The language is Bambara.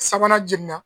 Sabanan jiginna